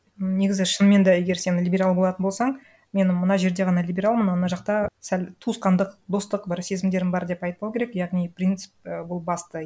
негізі шынымен да егер сен либерал болатын болсаң мен мына жерде ғана либералмын ал мына жақта сәл туысқандық достық бір сезімдерім бар деп айтпау керек яғни принцип і ол басты